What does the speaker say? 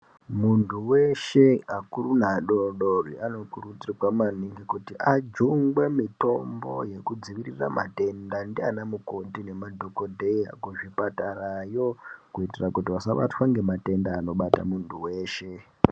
Muntu weshe vakuru nevadoko vanokurudzirwa maningi kuti ajungwe mitombo yekudzivirira matenda ndiyana mukoti nana dhokodheya kuzvipatara yo kuitira asabatwa nematenda anobata muntu weshe.